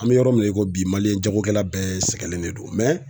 An bɛ yɔrɔ min na i ko bi jagokɛla bɛɛ sɛgɛlen de don